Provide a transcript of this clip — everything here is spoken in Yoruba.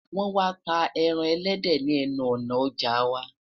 wọn má tá ẹran ẹlẹdẹ ni enu òná ọja wa